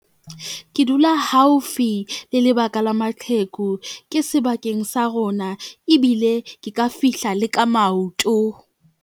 Ke dula haufi le lebaka la maqheku, ke sebakeng sa rona ebile ke ka fihla le ka maoto.